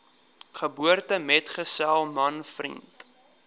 geboortemetgesel man vriend